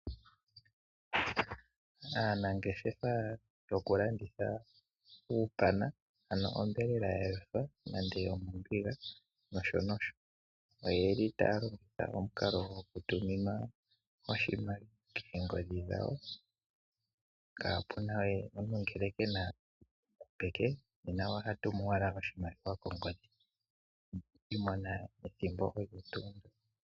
Aanangeshefa yoku landitha uupana ano onyama ya yothwa nenge yo mombiga nosho nosho, oye li taya longitha omukalo goku tuminwa oshimaliwa koongodhi dhawo. Kaapuna we omuntu ngele kena peke nena oha tumu owala oshimaliwa kongodhi no kushi mona ethimbo olyo tuu ndyoka.